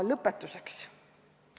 Lõpetuseks.